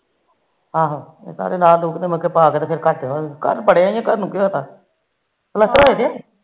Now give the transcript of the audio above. ਆਹੋ ਲਾਹ ਲੁਕੇ ਘਰ ਬਿਣਿਆ ਘਰ ਨੂੰ ਕੀ ਹੋਇਆ ਪਲਸਤਰ ਹੋਇਆ ਜੇ